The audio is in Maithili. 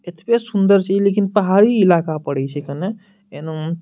एतवे सुंदर छै इ लेकिन इ पहाड़ी इलाका पड़े छै कने एना --